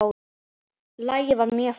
Lagið er mjög fínt.